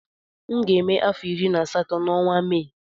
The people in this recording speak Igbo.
M ga-eme afọ iri na asatọ na ọnwa Mee